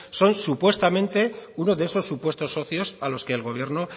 son supuestamente uno de esos supuestos socios a los que el gobierno